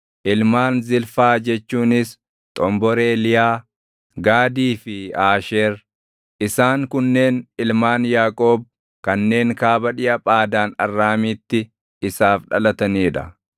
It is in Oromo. Ilmaan Zilfaa jechuunis xomboree Liyaa: Gaadii fi Aasheer. Isaan kunneen ilmaan Yaaqoob kanneen kaaba dhiʼa Phaadaan Arraamiitti isaaf dhalatanii dha.